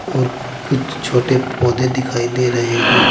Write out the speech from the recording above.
और कुछ छोटे पौधे दिखाई दे रहे हैं।